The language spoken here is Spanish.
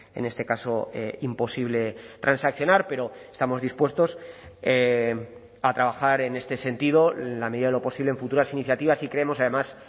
en este caso imposible transaccionar pero estamos dispuestos a trabajar en este sentido en la medida de lo posible en futuras iniciativas y creemos además